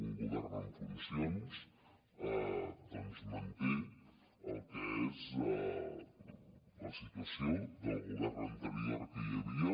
un govern en funcions doncs manté el que és la situació del govern anterior que hi havia